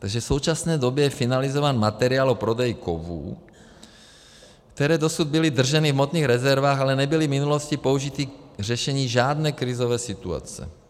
Takže v současné době je finalizován materiál o prodeji kovů, které dosud byly drženy v hmotných rezervách, ale nebyly v minulosti použity k řešení žádné krizové situace.